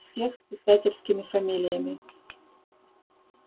всех с писательскими фамилиями